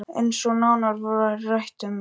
Eins og nánar var rætt um í